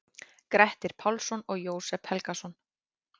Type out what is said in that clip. Grettir Pálsson og Jósep Helgason.